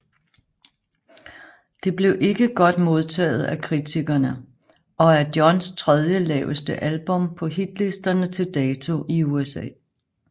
Det blev ikke godt modtaget af kritikerne og er Johns tredje laveste album på hitlisterne til dato i USA